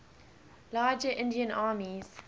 larger indian armies